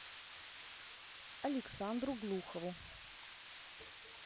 александру глухову